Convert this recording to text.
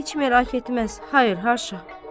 Heç merak etməz, hayır, haşa.